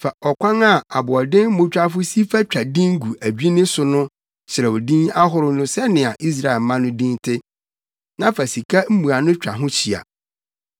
Fa ɔkwan a aboɔdemmotwafo si fa twa din gu adwinne so no so kyerɛw din ahorow no sɛnea Israel mma no din te, na fa sika mmuano twa ho hyia.